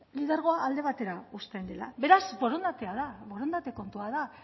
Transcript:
lidergoa alde batera uzten dela beraz borondatea da borondate kontua da